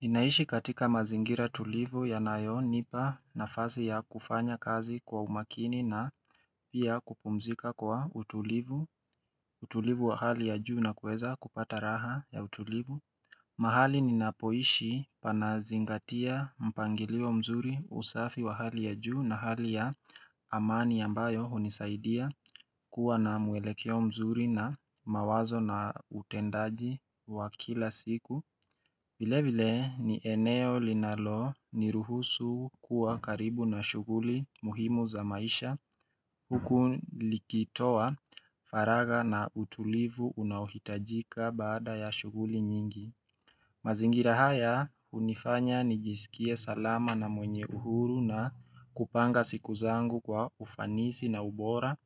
Ninaishi katika mazingira tulivu yanayonipa nafasi ya kufanya kazi kwa umakini na pia kupumzika kwa utulivu, utulivu wa hali ya juu na kuweza kupata raha ya utulivu. Mahali ninapoishi panazingatia mpangilio mzuri usafi wa hali ya juu na hali ya amani ambayo hunisaidia kuwa na mwelekeo mzuri na mawazo na utendaji wa kila siku. Vile vile ni eneo linaloniruhusu kuwa karibu na shughuli muhimu za maisha huku likitoa faragha na utulivu unaohitajika baada ya shughuli nyingi. Mazingira haya hunifanya nijiskie salama na mwenye uhuru na kupanga siku zangu kwa ufanisi na ubora.